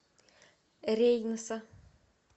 рейноса